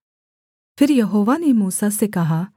फिर यहोवा ने मूसा से कहा